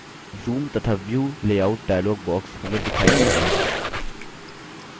zoom तथा view layout dialog box हमें दिखाई पड़ता है